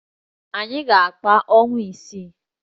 Anyị ga-akpa ọnwa isii